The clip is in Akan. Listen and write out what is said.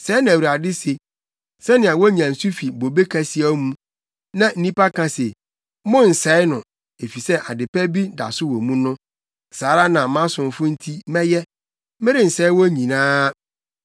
Sɛɛ na Awurade se: “Sɛnea wonya nsu fi bobe kasiaw mu, na nnipa ka se, ‘Monnsɛe no, efisɛ ade pa bi da so wɔ mu’ no saa ara na mʼasomfo no nti mɛyɛ. Merensɛe wɔn nyinaa.